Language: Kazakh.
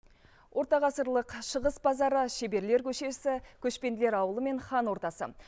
ортағасырлық шығыс базары шеберлер көшесі көшпенділер ауылы мен хан ордасы